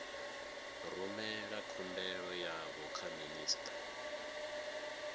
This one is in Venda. rumela khumbelo yavho kha minista